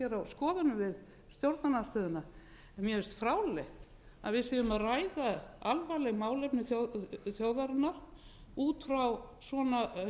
skoðunum við stjórnarandstöðuna en mér finnst fráleitt að við séum að ræða alvarleg málefni þjóðarinnar út frá svona